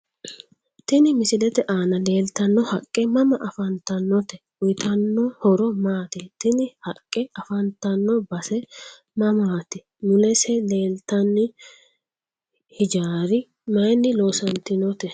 TIni misilete aana leelatano haaqqe mama afantanote uyiitanno horo maati tini haqqe afanttanno base mamaati mulese leeltani hijaarra mayiini loosantinote